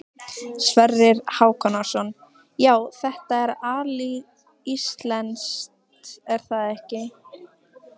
Sverrir Hákonarson: Já, þetta er alíslenskt er það ekki?